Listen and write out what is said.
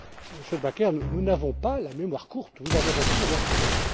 Monsieur De Backer, nous n'avons pas la mémoire courte, vous avez raison de le rappeler.